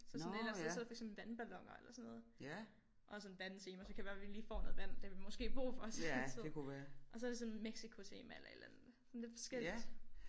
Så sådan et eller andet sted så er der for eksempel vandballoner eller sådan noget og sådan vandtema så kan det være vi lige får noget vand det har vi måske brug for til den tid og så er der sådan Mexicotema eller et eller andet sådan lidt forskelligt